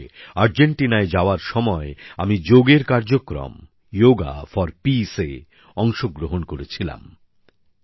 ২০১৮ সালে আর্জেন্টিনায় যাওয়ার সময় আমি যোগের কার্যক্রম যোগা ফর পিস্ এ অংশগ্রহণ করেছিলাম